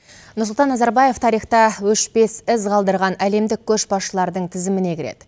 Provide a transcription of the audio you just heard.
нұрсұлтан назарбаев тарихта өшпес із қалдырған әлемдік көшбасшылардың тізіміне кіреді